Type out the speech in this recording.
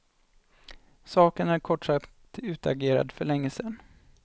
Saken är kort sagt utagerad för länge sedan.